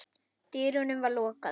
dyrunum var lokað.